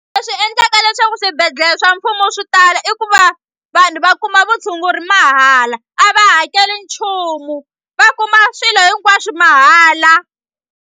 Leswi endlaka leswaku swibedhlele swa mfumo swi tala i ku va vanhu va kuma vutshunguri mahala a va hakeli nchumu va kuma swilo hinkwaswu mahala.